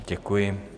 Děkuji.